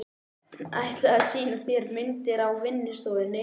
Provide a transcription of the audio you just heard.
Ætlaði að sýna mér myndir á vinnustofunni.